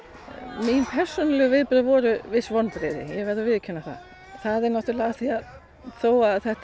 mín persónulegu viðbrögð voru viss vonbrigði ég verð að viðurkenna það það er náttúrulega af því að þó að þetta